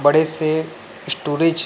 बड़े से स्टोरेज --